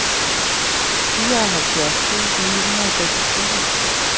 fireoghalvfjerds tusind ni hundrede og seksogtyve